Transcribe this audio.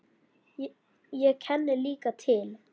Ég kenni líka til.